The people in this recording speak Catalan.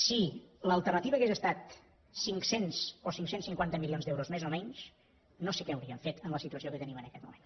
si l’alternativa hagués estat cinc cents o cinc cents i cinquanta milions d’euros més o menys no sé què hauríem fet en la situació que tenim en aquest moment